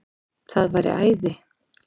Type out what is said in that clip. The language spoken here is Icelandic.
Það væri æði